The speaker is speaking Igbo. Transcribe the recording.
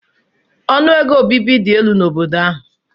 Ọnụ ego obibi dị elu n'obodo ahụ.